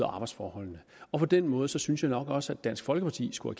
og arbejdsforhold på den måde synes jeg nok også at dansk folkeparti skulle